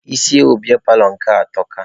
Isi ewu biya paalọ nke atọka.